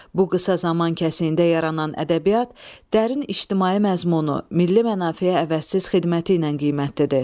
Bu qısa zaman kəsiyində yaranan ədəbiyyat, dərin ictimai məzmunu, milli mənafeyə əvəzsiz xidməti ilə qiymətlidir.